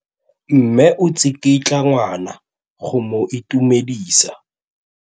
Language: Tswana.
Mme o tsikitla ngwana go mo itumedisa.